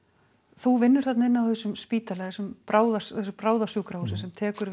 þú vinnur inni á þessum spítala þessu þessu bráðasjúkrahúsi sem tekur